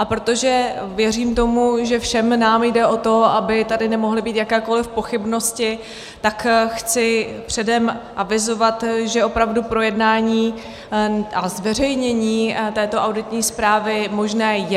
A protože věřím tomu, že všem nám jde o to, aby tady nemohly být jakékoliv pochybnosti, tak chci předem avizovat, že opravdu projednání a zveřejnění této auditní zprávy možné je.